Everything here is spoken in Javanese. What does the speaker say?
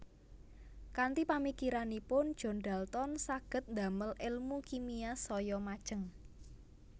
Kanthi pamikiranipun John Dalton saged damel èlmu kimia saya majeng